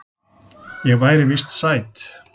Ég væri víst sæt.